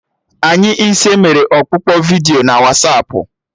Anyị ise mere ọkpụkpọ vidiyo na Wasapụ